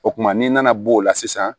O kumana n'i nana b'o la sisan